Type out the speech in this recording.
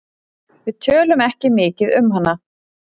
Við tölum ekki mikið um hana.